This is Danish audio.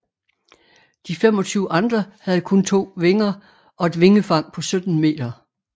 De 25 andre havde kun to vinger og et vingefang på 17 meter